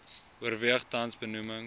oorweeg tans benoemings